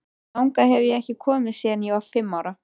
Þangað hef ég ekki komið síðan ég var fimm ára.